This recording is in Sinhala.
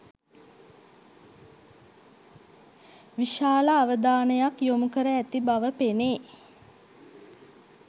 විශාල අවධානයක් යොමුකර ඇති බව පෙනේ.